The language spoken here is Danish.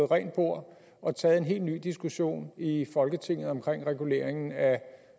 rent bord og taget en helt ny diskussion i folketinget om reguleringen af